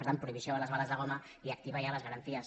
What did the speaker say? per tant prohibició de les bales de goma i activar ja les garanties